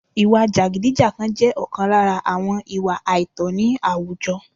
ìwà jàgídíjàgan jẹ́ ọ̀kan lára àwọn ìwà àìtọ̀ ní àwùjọ